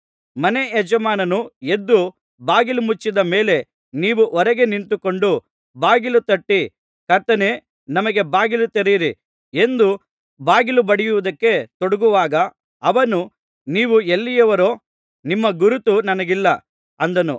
ಮನೆ ಯಜಮಾನನು ಎದ್ದು ಬಾಗಿಲು ಮುಚ್ಚಿದ ಮೇಲೆ ನೀವು ಹೊರಗೆ ನಿಂತುಕೊಂಡು ಬಾಗಿಲು ತಟ್ಟಿ ಕರ್ತನೇ ನಮಗೆ ಬಾಗಿಲು ತೆರೆಯಿರಿ ಎಂದು ಬಾಗಿಲು ಬಡಿಯುವುದಕ್ಕೆ ತೊಡಗುವಾಗ ಅವನು ನೀವು ಎಲ್ಲಿಯವರೋ ನಿಮ್ಮ ಗುರುತು ನನಗಿಲ್ಲ ಅಂದಾನು